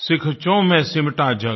सीखचों में सिमटा जग